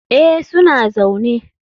Eh, suna zaune.